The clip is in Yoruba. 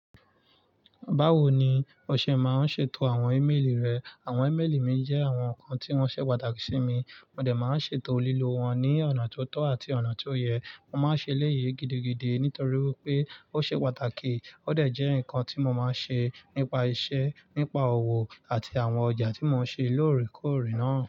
Báwo ni o ṣe máa ń ṣètò àwọn ímeèlì rẹ? Àwọn ímeèlì mi jẹ́ àwọn nǹkan tí wọ́n ṣe pàtàkì sí mi. Mo dẹ̀ máa ń ṣètò lílo wọn ní ọ̀nà tó tọ́ àti ọ̀nà tó yẹ. Mo máa ń ṣe éléyì gidigide nítorí wípé ó ṣe pàtàkì ó dẹ̀ jẹ́ ǹkan tí mo máa ń ṣe nípa iṣẹ́, nípa òwò àti àwọn ọjà tí mo ń ṣe lóòrèkóòrè náà.